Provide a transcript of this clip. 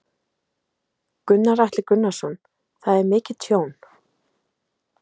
Gunnar Atli Gunnarsson: Það er mikið tjón?